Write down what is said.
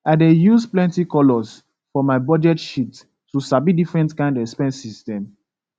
i dey use plenty colours for my budget sheet to sabi different kind expenses dem